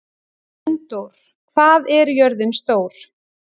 Unndór, hvað er jörðin stór?